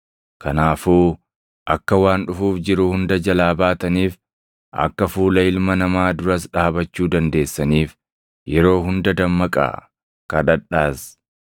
Kanaafuu akka waan dhufuuf jiru hunda jalaa baataniif, akka fuula Ilma Namaa duras dhaabachuu dandeessaniif yeroo hunda dammaqaa; kadhadhaas.”